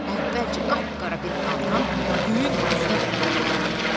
Əvvəlcə qapqara bir fontan göyün üzünə qədər qalxdı.